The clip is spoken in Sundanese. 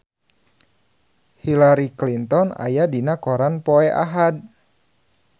Hillary Clinton aya dina koran poe Ahad